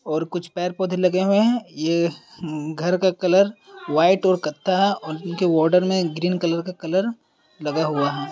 और कुछ पैर पौधे लगे हुए है। ये हम म घर का कलर व्हाइट और कत्था और इनके वॉर्डर मे ग्रीन कलर का कलर लगा हुआ है।